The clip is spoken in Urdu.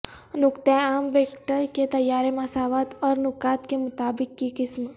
نقطہ عام ویکٹر کے طیارے مساوات اور نقاط کے مطابق کی قسم